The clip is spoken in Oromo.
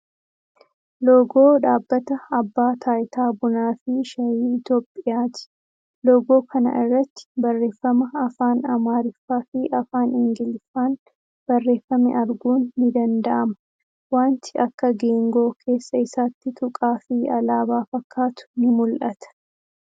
Loogoo dhaabbata abbaa taayitaa Bunaa fii Shaayii Itiyoophiyyaati. Loogoo kana irratti barreeffama afaan Amaariffaa fi afaan Ingiliffaan barreeffame arguun ni danda'ama. Wanti akka geengoo keessa isaatti tuqaa fii alaabaa fakkaatu ni mul'ata.